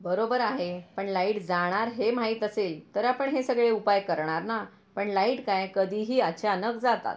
बरोबर आहे पण लाईट जाणार हे माहित असेल तर आपण हे सगळे उपाय करणार ना पण लाईट काय कधी हि अचानक जातात.